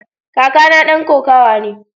Kakana dan kokawa ne.